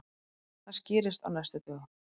Það skýrist á næstu dögum.